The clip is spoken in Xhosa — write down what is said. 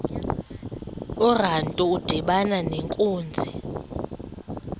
urantu udibana nenkunzi